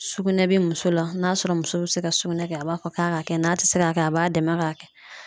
Sugunɛ bɛ muso la n'a sɔrɔ muso bɛ se ka sugunɛ kɛ, a b'a fɔ k'a ka kɛ, n'a tɛ se ka kɛ, a b'a dɛmɛ k'a kɛ .